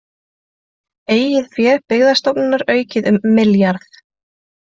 Eigið fé Byggðastofnunar aukið um milljarð